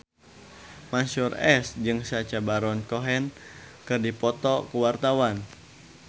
Mansyur S jeung Sacha Baron Cohen keur dipoto ku wartawan